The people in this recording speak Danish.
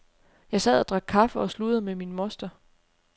Jeg sad og drak kaffe og sludrede med min moster.